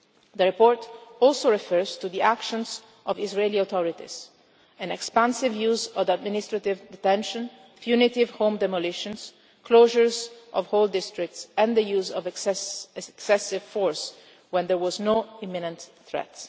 attacks. The report also refers to the actions of the Israeli authorities an expansive use of administrative detention, punitive home demolitions, closures of whole districts and the use of excessive force when there was no imminent